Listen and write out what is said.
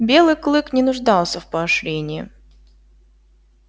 белый клык не нуждался в поощрении